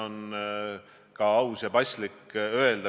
Me peame suutma vaadata ka ettepoole.